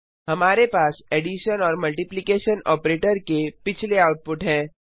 हमारे पास एडिशन और मल्टिप्लिकेशन ऑपरेटर के पिछले आउटपुट हैं